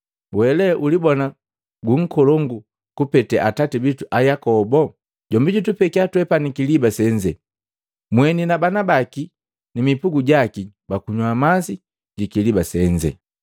Wele ulibona gu nkolongu kupeta atati bitu Ayakobo? Jombi jutupekia twepani kiliba senze, mweni na bana baki ni mipugu jaki bakunywa masi jikiliba senze?”